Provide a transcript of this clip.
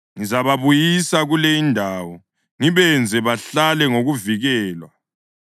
Ngizababuyisa kule indawo ngibenze bahlale ngokuvikelwa.